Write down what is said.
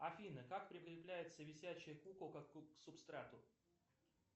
афина как прикрепляется висячая куколка к субстрату